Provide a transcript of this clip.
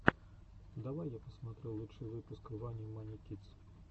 давай я посмотрю лучший выпуск вани мани кидс